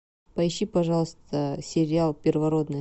поищи пожалуйста сериал первородные